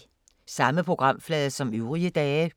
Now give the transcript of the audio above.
Samme programflade som øvrige dage